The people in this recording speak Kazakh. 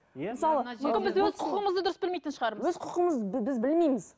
өз құқығымызды дұрыс білмейтін шығармыз өз құқығымызды біз білмейміз